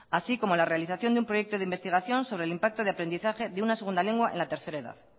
así como la realización de un proyecto de investigación sobre el impacto de aprendizaje de una segunda lengua en la tercera edad